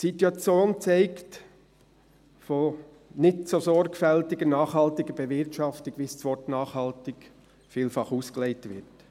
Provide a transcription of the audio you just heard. Die Situation zeugt von nicht so sorgfältiger nachhaltiger Bewirtschaftung, wie das Wort «nachhaltig» vielfach ausgelegt wird.